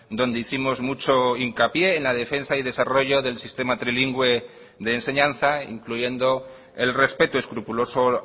donde hicimos mucho hincapié en la defensa y desarrollo del sistema trilingüe de enseñanza incluyendo el respeto escrupuloso